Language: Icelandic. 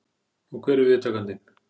Og hver er viðtakandinn?